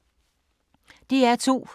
DR2